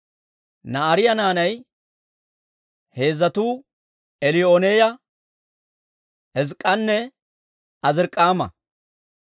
Na'aariyaa naanay heezzatuu Eliyoo'enaaya, Hizk'k'anne Azirik'aama.